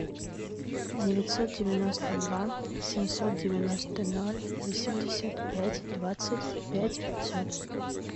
девятьсот девяносто два семьсот девяносто ноль восемьдесят пять двадцать пять пятьсот